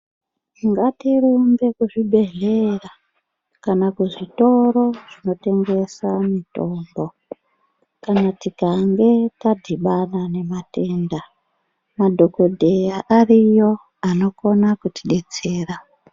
Ngatirumbe kuzvibhedhlera kana kuzvitoro zvinotengesa mitombo kana tikange tadhibana nematenda madhokodheya ariyo anokona kutidetsera.